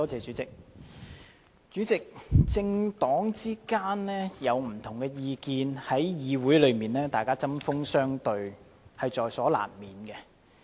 主席，政黨之間有不同意見，議員在議會中針鋒相對在所難免。